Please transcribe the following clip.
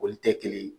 Olu tɛ kelen ye